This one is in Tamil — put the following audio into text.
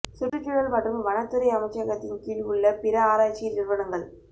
சுற்றுச்சூழல் மற்றும் வனத்துறை அமைச்சகத்தின் கீழ் உள்ள பிற ஆராய்ச்சி நிறுவனங்கள்